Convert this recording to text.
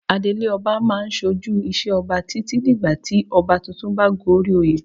Adelé ọba a máa ṣojú ìṣe Ọba títí dìgbà tí ọba tuntun bá goríoyè.